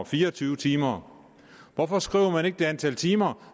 fire og tyve timer hvorfor skriver man ikke det antal timer